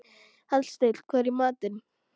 Hallsteinn, hvað er í matinn?